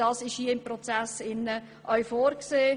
Das ist hier im Prozess auch vorgesehen.